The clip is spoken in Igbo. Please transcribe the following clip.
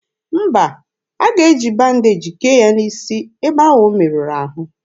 Mba, a ga-eji bandeji kee ya n'isi ebe ahụ o merụrụ ahụ.